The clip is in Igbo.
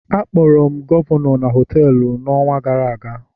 Akpọrọ m gọvanọ n họtelu a n'ọnwa gara aga